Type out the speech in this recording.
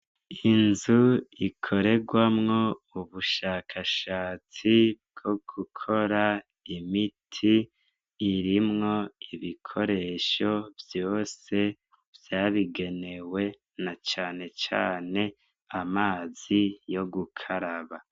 Inzu ikorerwamwo ubushakashatsi bwo gukora imiti, irimwo ibikoresho vyose vyabigenewe na canecane amazi yo gukaraba.